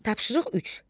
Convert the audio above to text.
Tapşırıq 3.